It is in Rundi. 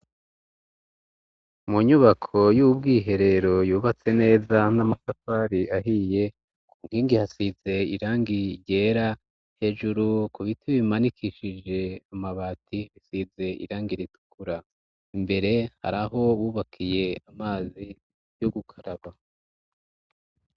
Munyubako y'ubwo iherero yubatse neza n'amasafari ahiye ku nkingi hasize irangi ryera hejuru ku biti bimanikishije amabati bisize irangi ritukura imbere haraho wubakiye amazi yougukaraba.